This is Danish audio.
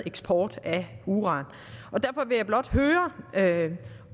eksport af uran derfor vil jeg blot høre